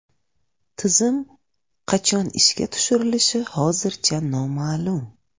Tizim qachon ishga tushirilishi hozircha noma’lum.